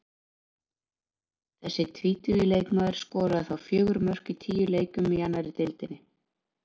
Þessi tvítugi leikmaður skoraði þá fjögur mörk í tíu leikjum í annarri deildinni.